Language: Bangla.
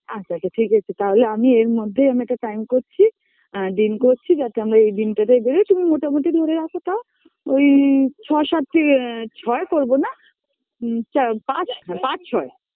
আচ্ছা আচ্ছা ঠিক আছে তাহলে আমি এর মধ্যে আমি একটা Time করছি অ্যা দিন করছি যাতে আমরা এই দিনটাতেই বেরোই তুমি মোটামুটি ধরে রাখো তাও